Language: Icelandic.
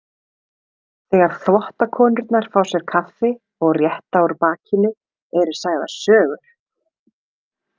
Þegar þvottakonurnar fá sér kaffi og rétta úr bakinu eru sagðar sögur.